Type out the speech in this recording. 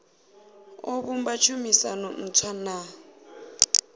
o vhumba tshumisano ntswa na